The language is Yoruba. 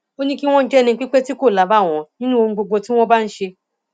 ó ní kí wọn jẹ ẹnipípé tí kò lábàwọn nínú ohun gbogbo tí wọn bá ń ṣe